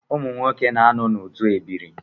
Ụmụnwoke na-anọ n’otu ebiri